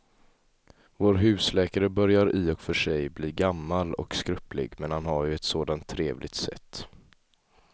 Vår husläkare börjar i och för sig bli gammal och skröplig, men han har ju ett sådant trevligt sätt!